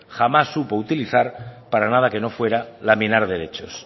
jamás supo utilizar para nada que no fuera laminar derechos